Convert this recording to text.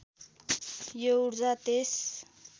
यो ऊर्जा त्यस